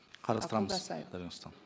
қарастырамыз дариға